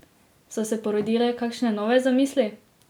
So se porodile kakšne nove zamisli?